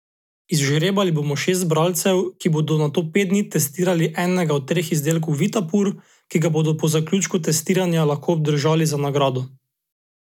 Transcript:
Izžrebali bomo šest bralcev, ki bodo nato pet dni testirali enega od treh izdelkov Vitapur, ki ga bodo po zaključku testiranja lahko obdržali za nagrado.